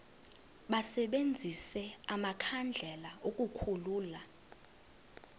basebenzise amakhandlela ukukhulula